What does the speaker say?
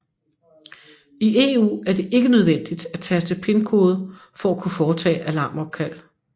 I EU er det ikke nødvendigt at taste pinkode for at kunne foretage alarmopkald